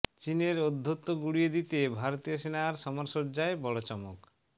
চিনের ঔদ্ধত্য গুঁড়িয়ে দিতে ভারতীয় সেনার সমরসজ্জায় বড় চমক